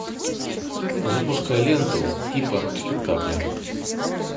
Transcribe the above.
запускай ленту типа спектакля